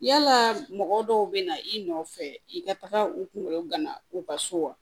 Yalaa mɔgɔ dɔw bɛ na i nɔfɛ i ka taa u kungolo gana u ka so wa